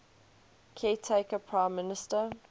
caretaker prime minister